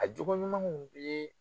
A jogo ɲumanw ye